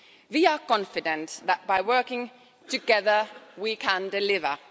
We are confident that by working together we can deliver.